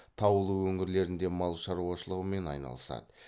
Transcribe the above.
таулы өңірлерінде мал шаруашылығымен айналысады